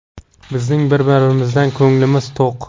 Bizning bir-birimizdan ko‘nglimiz to‘q.